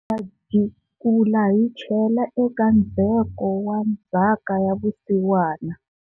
Hi ta jikula hi chela eka ndzheko wa Ndzhaka ya vusiwana,